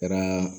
Kɛra